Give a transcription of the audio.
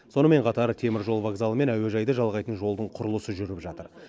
сонымен қатар теміржол вокзалы мен әуежайды жалғайтын жолдың құрылысы жүріп жатыр